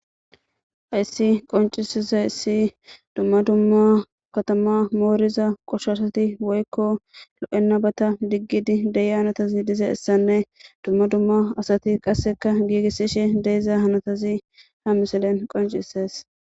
Hayisi qonchisizayisi dumma dumma katma moriza qoshaashati woyikko loena bata digidi dei hanotati dizayisanne dumma dumma asati qaseka gigisishe diza hanotati ha missilen conchises.